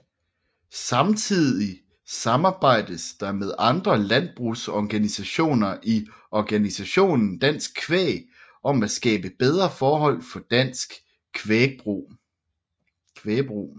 Samtidig samarbejdes der med andre landbrugsorganisationer i organisationen Dansk Kvæg om at skabe bedre forhold for dansk kvægbrug